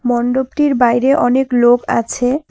মন্ডপটির বাইরে অনেক লোক আছে।